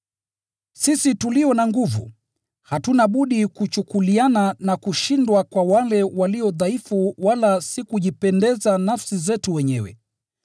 Sisi tulio na nguvu, hatuna budi kuchukuliana na kushindwa kwa wale walio dhaifu wala si kujipendeza nafsi zetu wenyewe.